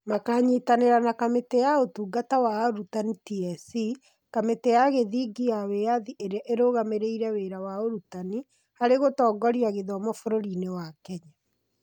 Makanyitanĩra na Kamĩtĩ ya Ũtungata wa Arutani (TSC), kamĩtĩ ya gĩthingi ya wĩyathi ĩrĩa ĩrũgamĩrĩire wĩra wa ũrutani, harĩ gũtongoria gĩthomo bũrũriinĩ wa Kenya.